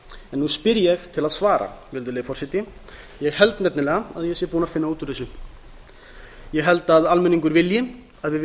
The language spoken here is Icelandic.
nú spyr ég til að svara virðulegi forseti ég held nefnilega að ég sé búinn að finna út úr þessu ég held að almenningur vilji að við